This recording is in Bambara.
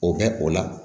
O bɛ o la